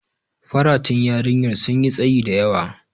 Faratun yarinyar sun yi tsayi da yawa.